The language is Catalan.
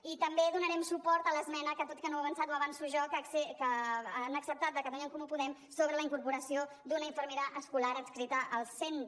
i també donarem suport a l’esmena que tot i que no ho ha avançat ho avanço jo que han acceptat de catalunya en comú podem sobre la incorporació d’una infermera escolar adscrita al centre